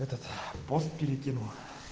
этот пост перекину